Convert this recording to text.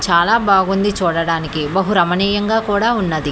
చాలా బాగుంది చూడడానికి బహు రమనీయంగా కూడా ఉన్నది.